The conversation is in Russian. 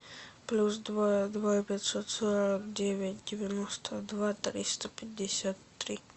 плюс два два пятьсот сорок девять девяносто два триста пятьдесят три